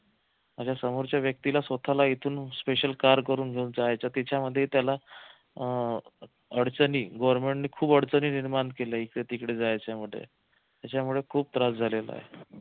माझ्या समोरच्या व्यक्तीला स्वतःला इथून special car करून घेऊन जायचं त्याच्यामध्ये त्याला अह अडचणी government ने खूप अडचणी निर्माण केल्या इकडे तिकडे जायच्या मध्ये त्याच्यामुळे खूप त्रास झालेला आहे